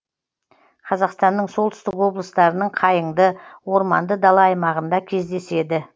қазақстанның солтүстік облыстарының қайыңды орманды дала аймағында кездеседі